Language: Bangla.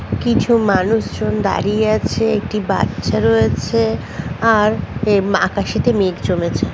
কিছু মানুষজন দাঁড়িয়ে আছে। একটি বাচ্চা রয়েছে আর এম আকাশিতে সাথে মেঘ জমেছে।